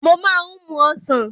Mo máa ń mú Ọ̀sán.